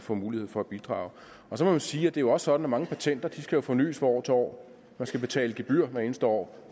få mulighed for at bidrage så må jeg sige at det jo også er sådan at mange patenter skal fornys fra år til år man skal betale gebyrer hvert eneste år